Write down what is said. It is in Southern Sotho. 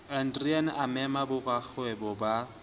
adriaan a mema borakgwebo ba